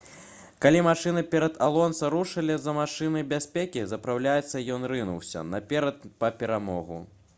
калі машыны перад алонса рушылі за машынай бяспекі запраўляцца ён рынуўся наперад па перамогу